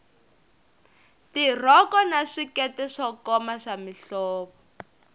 tirhoko na swikete swo koma swa mihlovo